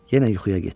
Yenə yuxuya getdi.